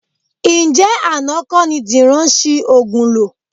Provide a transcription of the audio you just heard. Ǹjẹ́ àná kọ́ ni Dìran ṣi òògùn lò?